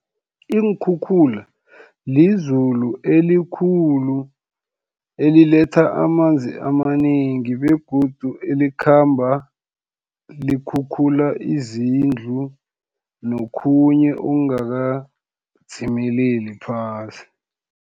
Iinkhukhula, lizulu elikhulu eliletha amanzi amanengi, begodu elikhamba likhukhula izindlu, nokhunye okungakadzimeleli phasi.